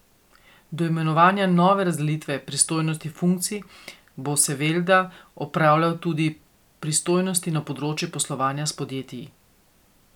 Do imenovanja nove razdelitve pristojnosti funkcij bo Sevelda opravljal tudi pristojnosti na področju poslovanja s podjetij.